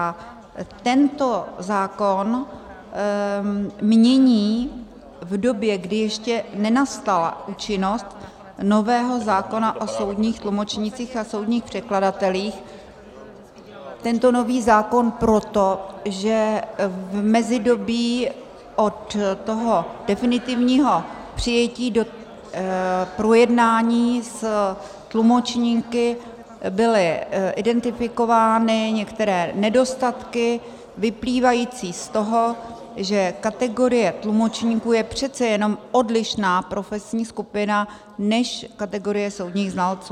A tento zákon mění v době, kdy ještě nenastala účinnost nového zákona o soudních tlumočnících a soudních překladatelích, tento nový zákon proto, že v mezidobí od toho definitivního přijetí do projednání s tlumočníky byly identifikovány některé nedostatky vyplývající z toho, že kategorie tlumočníků je přece jenom odlišná profesní skupina než kategorie soudních znalců.